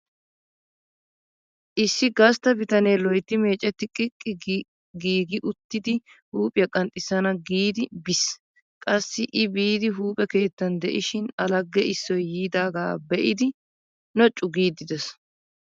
Issi gastta bitanee loytti meecetti qiqqi gi giigidi huuphiya qanxxissana giidi biis. Qassi I biidi huuphe keettan de'ishin A lagge issoy yiidaaga be'idi noocu giiddi de'ees.